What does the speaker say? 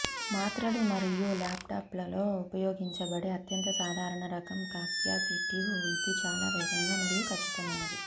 మాత్రలు మరియు ల్యాప్టాప్లలో ఉపయోగించబడే అత్యంత సాధారణ రకం కాప్యాసిటివ్ ఇది చాలా వేగంగా మరియు ఖచ్చితమైనది